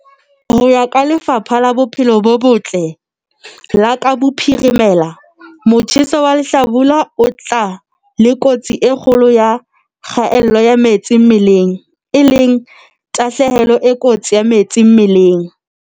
Ho ya ka Lefapha la Bophelo bo Botle la Kapa Bophirimela, motjheso wa lehlabula o tla le kotsi e kgolo ya kgaello ya metsi mmeleng, e leng tahlehelo e kotsi ya metsi mmeleng.